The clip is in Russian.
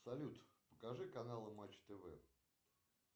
салют покажи каналы матч тв